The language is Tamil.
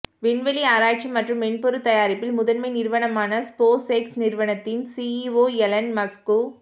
விண்வெளி ஆராய்ச்சி மற்றும் மென்பொருள் தயாரிப்பில் முதன்மை நிறுவனமான ஸ்போஸ் எக்ஸ் நிறுவனத்தின் சீஇஒ எலன் மஸ்கு